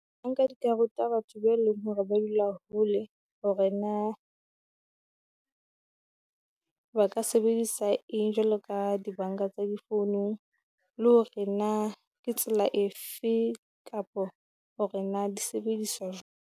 Di ka ruta batho ba leng hore ba dula hole, hore na ba ka sebedisa eng jwalo ka di banka tsa di founong. Le hore na ke tsela efe kapo hore na di sebediswa